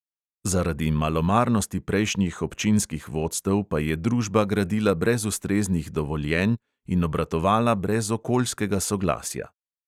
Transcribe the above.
Zaradi malomarnosti prejšnjih občinskih vodstev pa je družba gradila brez ustreznih dovoljenj in obratovala brez okoljskega soglasja.